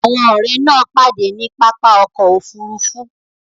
Àwọn ọ̀rẹ́ náà pàdé ní pápá ọkọ̀ Òfurufú